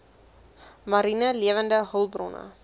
mariene lewende hulpbronne